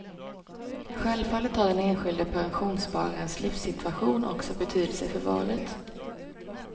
Självfallet har den enskilde pensionsspararens livssituation också betydelse för valet.